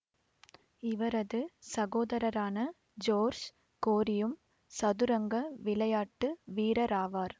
இவரது சகோதரரான ஜோர்ஷ் கோரியும் சதுரங்க விளையாட்டு வீரராவார்